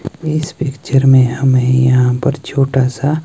इस पिक्चर में हमें यहां पर छोटा सा--